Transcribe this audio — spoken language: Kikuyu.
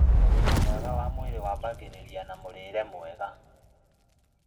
ũgima mwega wa mwĩrĩ wambagĩrĩria na mũrĩre mwega